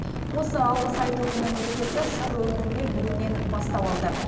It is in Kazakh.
осы алғыс айту күні мерекесі сыр өңірінде бүгіннен бастау алды